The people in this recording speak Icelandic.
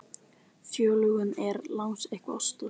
Fjölgun er langsamlega örust í Afríku og Asíu.